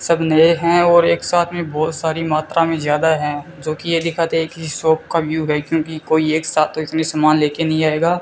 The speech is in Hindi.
सब नए हैं और एक साथ में बहोत सारी मात्रा में ज्यादा हैं जो कि यह दिखाते हैं की शॉप का व्यू है क्योंकि कोई एक साथ तो इतने सामान लेके नहीं आएगा।